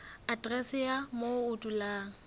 aterese ya moo o dulang